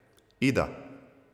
Ida.